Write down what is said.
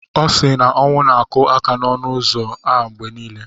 Ọ sị na ọnwụ na-akụ aka n'ọnụ ụzọ a mgbe niile.